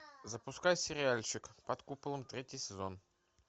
запускай сериальчик под куполом третий сезон